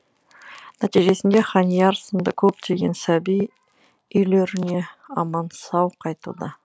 нәтижесінде ханияр сынды көптеген сәби үйлеріне аман сау қайтуда